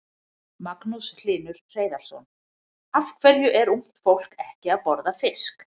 Magnús Hlynur Hreiðarsson: Af hverju er ungt fólk ekki að borða fisk?